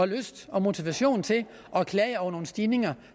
lyst og motivation til at klage over nogle stigninger